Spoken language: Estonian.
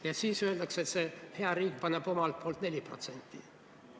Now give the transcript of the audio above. Ja siis öeldakse, et hea riik paneb omalt poolt 4%.